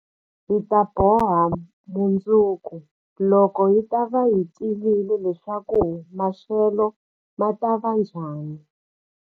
Hi ta boha mundzuku, loko hi ta va hi tivile leswaku maxelo ma ta va njhani.